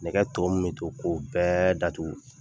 Nɛgɛ tɔw min to, ko bɛɛ datugu.